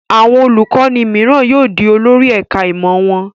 Àwọn olùkọ́ní mìíràn yóò di olórí ẹ̀ka-ìmọ̀ wọn.